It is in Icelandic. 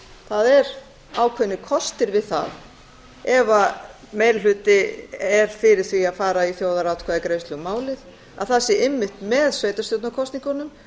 það eru ákveðnir kostir við það ef meiri hluti er fyrir því að fara í þjóðaratkvæðagreiðslu um málið að það sé einmitt með sveitarstjórnarkosningunum þótt það sé